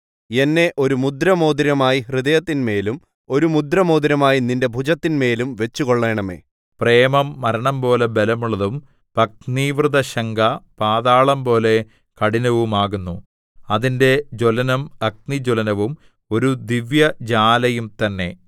എന്നെ ഒരു മുദ്രമോതിരമായി നിന്റെ ഹൃദയത്തിന്മേലും ഒരു മുദ്രമോതിരമായി നിന്റെ ഭുജത്തിന്മേലും വച്ചുകൊള്ളണമേ പ്രേമം മരണംപോലെ ബലമുള്ളതും പത്നീവ്രതശങ്ക പാതാളംപോലെ കഠിനവുമാകുന്നു അതിന്റെ ജ്വലനം അഗ്നിജ്വലനവും ഒരു ദിവ്യജ്വാലയും തന്നെ